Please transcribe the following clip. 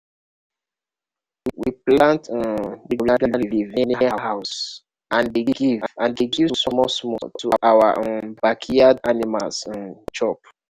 we plant um moringa leaf near house and dey give and dey give small-small to our um backyard animals um chop.